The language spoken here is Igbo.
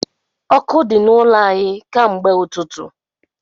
Ọkụ di n’ụlọ anyị ka mgbe ụtụtụ